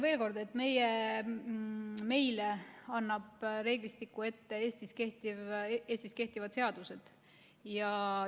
Veel kord: meile annavad reeglistiku ette Eestis kehtivad seadused.